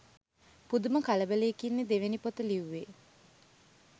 පුදුම කලබලයකින්නෙ දෙවැනි පොත ලිව්වෙ